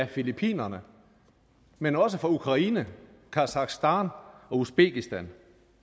filippinerne men også fra ukraine kasakhstan og usbekistan